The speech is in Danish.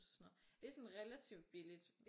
Det er sådan relativt billigt